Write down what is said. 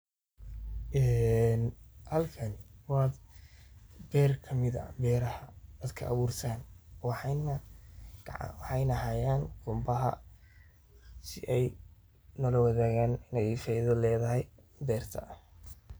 Halkan wa beer kamid ah beraha dadka aburtan waxana waye qunba ayey sii ey nolawadagan in ey faido ledahay berta.